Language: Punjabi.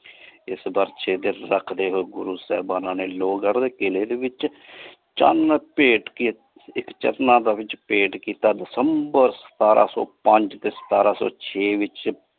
ਇਸ ਪਰਚੇ ਦੇ ਸਕਦੀ ਹੋਏ ਗੁਰੂ ਸਾਹਿਬਾਨ ਨੇ ਲੋਗ ਕੀਲੇ ਦੇ ਵਿਚ ਚੰਨ ਪੇਟ ਕੇ ਚਕਮਾ ਦੇ ਵਿਚ ਪੇਂਟ ਕੀਤਾ ਤੇ september ਸਿਤਾਰਾ ਸੋ ਪੰਜ ਤੇ ਸਿਤਾਰਾ ਸੋ ਛੇ ਵਿਚ।